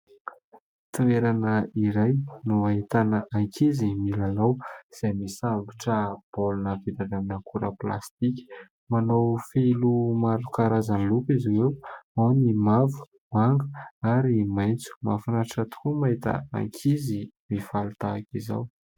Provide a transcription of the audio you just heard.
Toerana iray no ahitana ankizy milalao, izay misambotra baolina vita avy amin'ny akora plastika. Manao fehiloha maro karazany loko izy ireo : ao ny mavo, manga ary maitso. Mahafinaritra tokoa mahita ankizy mifaly tahaka izao.